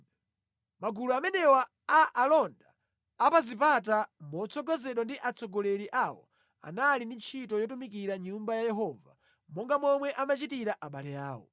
Magulu amenewa a alonda a pa zipata, motsogozedwa ndi atsogoleri awo, anali ndi ntchito yotumikira mʼNyumba ya Yehova, monga momwe amachitira abale awo.